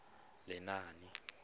lenaane